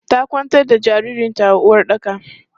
Ta kwantar da jaririn ta a uwaɗɗaka.